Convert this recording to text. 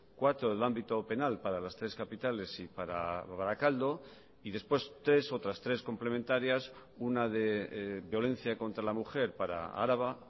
cuatro del ámbito penal para las tres capitales y para barakaldo y después tres otras tres complementarias una de violencia contra la mujer para araba